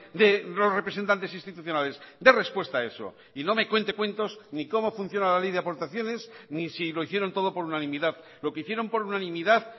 de los representantes institucionales de respuesta a eso y no me cuente cuentos ni como funciona la ley de aportaciones ni si lo hicieron todo por unanimidad lo que hicieron por unanimidad